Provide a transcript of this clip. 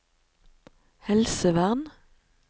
helsevern